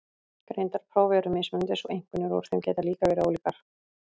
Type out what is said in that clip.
Greindarpróf eru mismunandi svo einkunnir úr þeim geta líka verið ólíkar.